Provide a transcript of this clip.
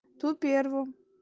то первым